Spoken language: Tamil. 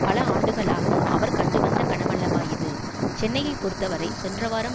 பல ஆண்டுகளாக அவர் கண்டுவந்த கனவல்லவா இது சென்னையை பொறுத்தவரை சென்றவாரம்